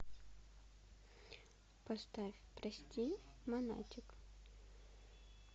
поставь прости монатик